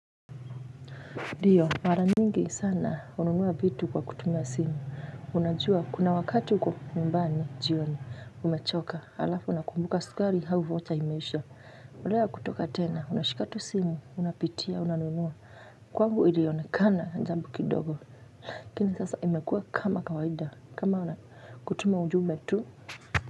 Ndio mara nyingi sana hununua vitu kwa kutumia simu unajua kuna wakati uko nyumbani jioni umechoka alafu unakumbuka sukari au vocha imesha ulea kutoka tena unashika tu simu unapitia unanunua kwangu ilionekana jambo kidogo lakini sasa imekua kama kawaida kama kutuma ujumbe tu.